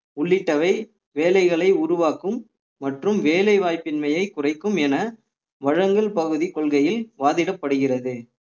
உள்ளிட்டவை வேலைகளை உருவாக்கும் மற்றும் வேலைவாய்ப்பின்மையை குறைக்கும் என வழங்கும் பகுதி கொள்கையில் வாதிடப்படுகிறது